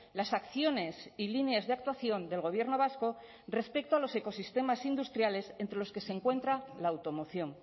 las acciones y líneas de actuación del gobierno vasco respecto a los ecosistemas industriales entre los que se encuentra la automoción